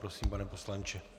Prosím, pane poslanče.